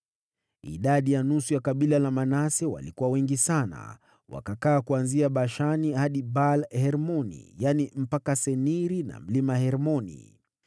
Idadi ya nusu ya kabila la Manase walikuwa wengi sana, Wakakaa kuanzia Bashani hadi Baal-Hermoni, yaani mpaka Seniri na mlima Hermoni.